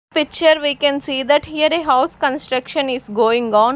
Picture we can see that here a house construction is going on.